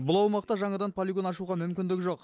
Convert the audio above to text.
бұл аумақта жаңадан полигон ашуға мүмкіндік жоқ